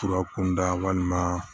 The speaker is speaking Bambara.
Fura kunda walima